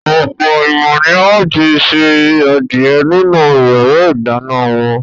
Ọ̀pọ̀ ènìyàn ni ó ti se adìẹ nínú ìyàrá-ìdáná wọn.